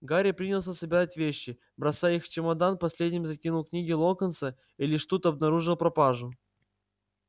гарри принялся собирать вещи бросая их в чемодан последними закинул книги локонса и лишь тут обнаружил пропажу